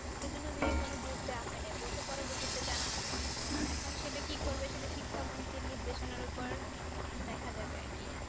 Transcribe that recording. সেজন্য ওদেরকে কোন Group দেয়া হয়নি বলেছে পরবর্তীতে জানানো হবে এখন সেটা কি করবে সেটা শিক্ষামন্ত্রী নির্দেশনের উপর দেখা যাবে আর কি